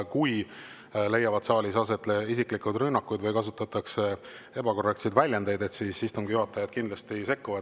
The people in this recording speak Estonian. Kui siin saalis leiavad aset isiklikud rünnakud või kasutatakse ebakorrektseid väljendeid, siis istungi juhataja kindlasti sekkub.